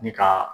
Ni ka